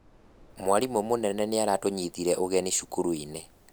Mwarimũ mũnene nĩaratũnyitire ũgeni cukuru-inĩ